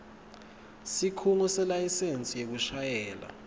sikhungo selayisensi yekushayela